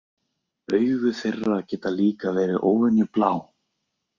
Augu þeirra geta líka verið óvenju blá.